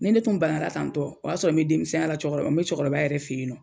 Ni ne tun bana bana tan tɔ, o y'a sɔrɔ ni denmisɛnya la cɛkɔrɔba n be cɛkɔrɔba yɛrɛ fe yen nɔ